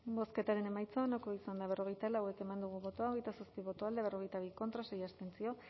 bozketaren emaitza onako izan da berrogeita lau eman dugu bozka hogeita zazpi boto alde berrogeita bi contra sei abstentzio